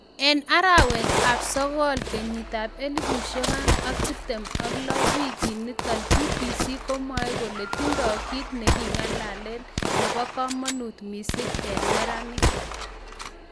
En 21 arawet ab sokool 2016 wikit nito BBC komwae kole tindo kit neking'alalen nebo kamanut missing en neranik.